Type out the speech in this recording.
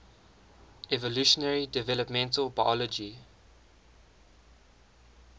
evolutionary developmental biology